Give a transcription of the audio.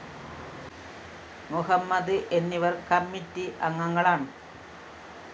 മുഹമ്മദ് എന്നിവര്‍ കമ്മിറ്റി അംഗങ്ങളാണ്